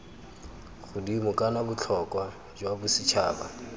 godimo kana botlhokwa jwa bosetšhaba